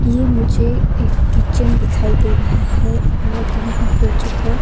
ये मुझे एक किचन दिखाई दे रहा है और यहां पर जो है--